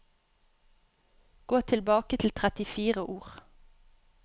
Gå tilbake trettifire ord